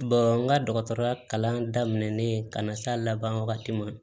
n ka dɔgɔtɔrɔya kalan daminɛnen ka na s'a laban wagati ma